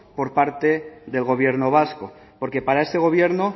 por parte del gobierno vasco porque para este gobierno